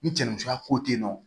Ni cɛnni cogoya ko tɛ yen nɔ